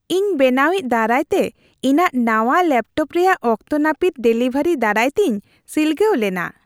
ᱤᱧ ᱵᱮᱱᱟᱣᱤᱡ ᱫᱟᱨᱟᱭ ᱛᱮ ᱤᱧᱟᱹᱜ ᱱᱟᱶᱟ ᱞᱮᱯᱴᱚᱯ ᱨᱮᱭᱟᱜ ᱚᱠᱛᱚ ᱱᱟᱹᱯᱤᱛ ᱰᱮᱞᱤᱵᱷᱟᱨᱤ ᱫᱟᱨᱟᱭᱛᱤᱧ ᱥᱤᱞᱜᱟᱹᱣ ᱞᱮᱱᱟ ᱾